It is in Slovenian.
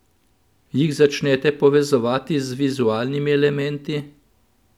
Jih začnete povezovati z vizualnimi elementi?